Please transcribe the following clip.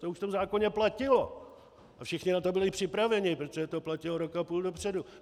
To už v tom zákoně platilo a všichni na to byli připraveni, protože to platilo rok a půl dopředu.